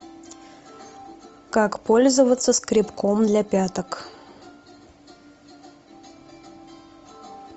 как пользоваться скребком для пяток